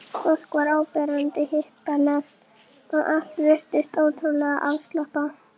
Ég var ekki svifaseinn að vitja varahlutanna.